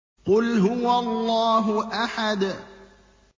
قُلْ هُوَ اللَّهُ أَحَدٌ